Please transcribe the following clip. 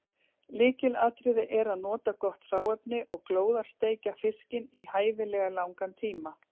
Lykilatriði er að nota gott hráefni og glóðarsteikja fiskinn í hæfilega langan tíma.